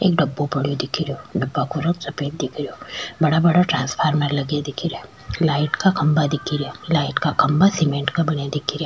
एक डब्बा पड़ो दिख रहो डब्बा का रंग सफ़ेद दिख रहो बड़ा बड़ा टांसफार्मर लगा दिख रा लाइट का खम्बा दिख रा लाइट का खम्भा सीमेंट का बना दिख रा।